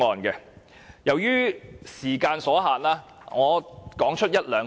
由於時間所限，我只會提出一兩點。